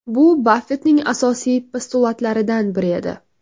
Bu Baffettning asosiy postulatlaridan biri edi.